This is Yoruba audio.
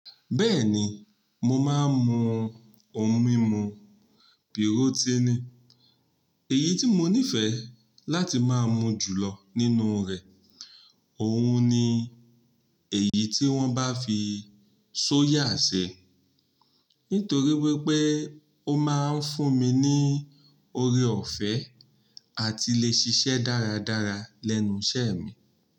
Bẹ́ẹ̀ni mo máa ń mu ohun mímu porotiini èyí tí mo nífẹ̀ẹ́ láti máa mu jù lọ nínú rẹ̀, òhun ni èyí tí wọ́n bá fi soya ṣe, nítorí wípé ó máa ń fún mi ní oore ọ̀fẹ́ àti lè ṣiṣẹ́ dáradára lẹ́nu iṣẹ́ mi.